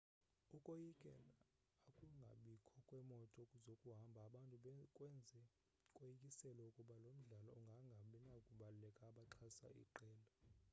ukoyikela ukungabikho kwemoto zokuhamba abantu kwenze koyikiselwa ukuba lo mdlalo ungangabinababukeli abaxhasa iqela